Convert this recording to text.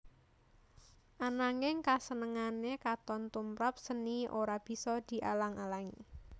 Ananging kasenengané katon tumprap séni ora bisa dialang alangi